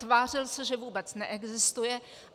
Tvářil se, že vůbec neexistuje.